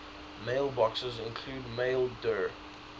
mailboxes include maildir